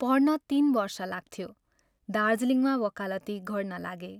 पढ्न तीन वर्ष लाग्थ्यो, दार्जीलिङमा वकालती गर्नलागे।